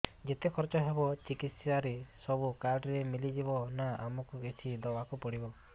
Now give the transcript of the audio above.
ଯେତେ ଖର୍ଚ ହେବ ଚିକିତ୍ସା ରେ ସବୁ କାର୍ଡ ରେ ମିଳିଯିବ ନା ଆମକୁ ବି କିଛି ଦବାକୁ ପଡିବ